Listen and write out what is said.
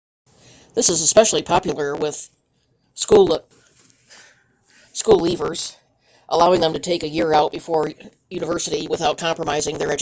this is especially popular with school leavers allowing them to take a year out before university without compromising their education